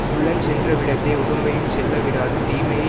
உள்ளஞ் சென்ற விடத்தே உடம்பையுஞ் செல்லவிடாது தீமையை